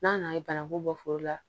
N'a nana ye bananku bɔ foro la